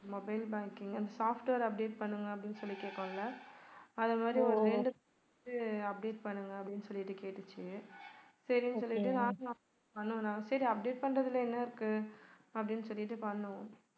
mobile banking software update பண்ணுங்க அப்படின்னு சொல்லி கேட்கும்ல. அத மாதிரி ஒரு ரெண்டு update பண்ணுங்க அப்படின்னு சொல்லிட்டு கேட்டுச்சு சரின்னு சொல்லிட்டு சரி update பண்றதுல என்ன இருக்கு அப்படின்னு சொல்லிட்டு பண்ணோம்